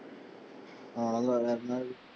அவ்ளோதான் வேற என்னது?